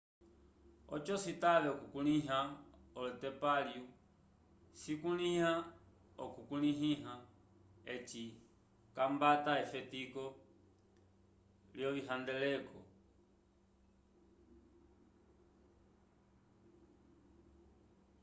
oco citave okukulĩha olotemplalio cisukila okukulĩha eci c'ambata efetiko lyovihandeleko